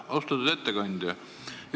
Austatud ettekandja!